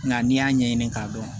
Nka n'i y'a ɲɛɲini k'a dɔn